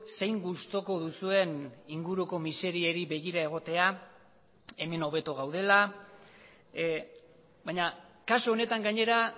zein gustuko duzuen inguruko miseriei begira egotea hemen hobeto gaudela baina kasu honetan gainera